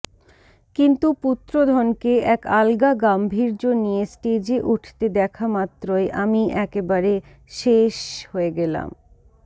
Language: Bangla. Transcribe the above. কিন্তু পুত্রধনকে এক আলগা গাম্ভীর্য নিয়ে স্টেজে উঠতে দেখামাত্রই আমি একেবারে শেষষষ হয়ে গেলাম